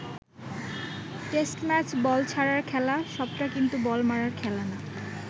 Test match ball ছাড়ার খেলা, সবটা কিন্তু বল মারার খেলা না।